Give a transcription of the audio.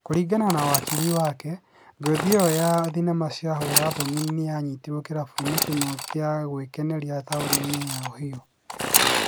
kũrĩngana na wakili wake, Ngothi ĩyo ya thenema cia hũra thoni nĩanyitĩtwo kĩrabu-inĩ kĩmwe gia gwĩkenia tauni-inĩ wa Ohio